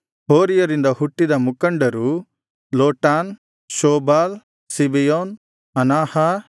ಹೋರಿಯರಿಂದ ಹುಟ್ಟಿದ ಮುಖಂಡರು Lotan Shobal Zibeon ಅನಾಹ